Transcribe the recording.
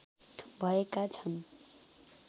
भएका छन्